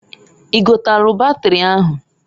I gotalụ batịrị ahụ?